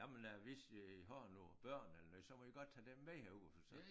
Jamen øh hvis I har noget børn eller noget så må I godt tage dem med herud for så